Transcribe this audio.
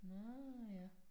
Nåh ja